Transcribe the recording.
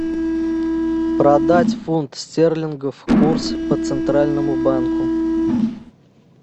продать фунт стерлингов курс по центральному банку